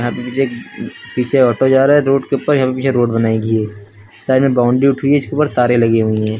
यहां पे मुझे एक पीछे ऑटो जा रहा है रोड के ऊपर। यहां पे पीछे रोड बनाई गई है। साइड में बाउंड्री उठ रही है। इसके ऊपर तारें लगी हुई हैं।